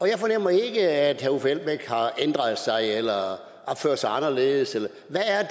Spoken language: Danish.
jeg fornemmer ikke at herre uffe elbæk har ændret sig eller opfører sig anderledes hvad er